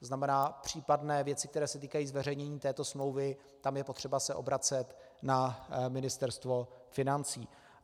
To znamená, případné věci, které se týkají zveřejnění této smlouvy, tam je potřeba se obracet na Ministerstvo financí.